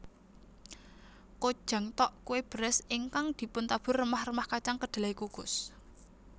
Kkojang tteok kue beras ingkang dipuntabur remah remah kacang kedelai kukus